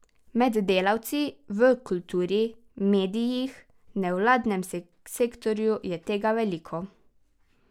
Med delavci v kulturi, medijih, nevladnem sektorju je tega veliko.